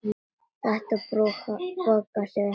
Þetta borgar sig ekki.